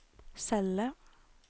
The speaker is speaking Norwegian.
celle